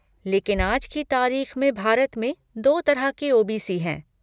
लेकिन आज की तारीख में भारत में दो तरह के ओ.बी.सी. हैं।